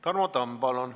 Tarmo Tamm, palun!